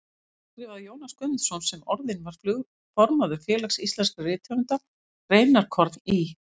Þá skrifaði Jónas Guðmundsson, sem orðinn var formaður Félags íslenskra rithöfunda, greinarkorn í